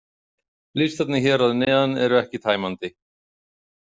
Listarnir hér að neðan eru ekki tæmandi.